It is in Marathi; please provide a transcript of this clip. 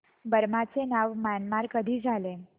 बर्मा चे नाव म्यानमार कधी झाले